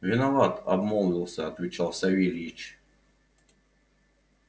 виноват обмолвился отвечал савельич